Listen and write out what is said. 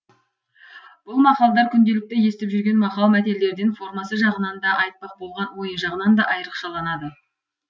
бұл мақалдар күнделікті естіп жүрген мақал мәтелдерден формасы жағынан да айтпақ болған ойы жағынан да айрықшаланады